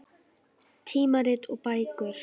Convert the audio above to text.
Tímarit og bækur.